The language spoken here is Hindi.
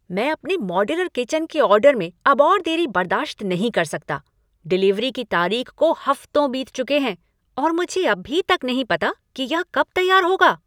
मैं अपने मॉड्यूलर किचन के ऑर्डर में अब और देरी बर्दाश्त नहीं कर सकता। डिलीवरी की तारीख को हफ्तों बीत चुके हैं और मुझे अभी तक नहीं पता कि यह कब तैयार होगा।